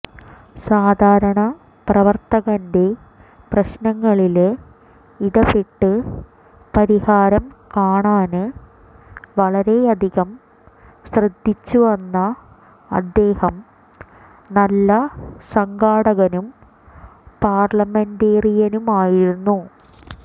സാധാരണ പ്രവര്ത്തകന്റെ പ്രശ്നങ്ങളില് ഇടപെട്ട് പരിഹാരം കാണാന് വളരെയധികം ശ്രദ്ധിച്ചുവന്ന അദ്ദേഹം നല്ല സംഘാടകനും പാര്ലമെന്റേറിയനുമായിരുന്നു